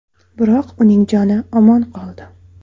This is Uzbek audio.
Biroq uning joni omon qoldi.